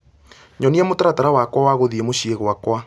nyonia mũtaratara wakwa wa gũthiĩ mũciĩ gwakwa